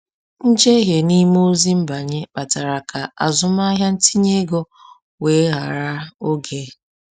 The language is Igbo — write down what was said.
Njehie n’ime ozi nbanye kpatara ka azụmahịa ntinye ego weghaara oge.